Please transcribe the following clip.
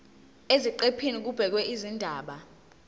eziqephini kubhekwe izindaba